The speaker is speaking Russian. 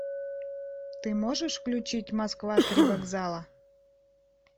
ты можешь включить москва три вокзала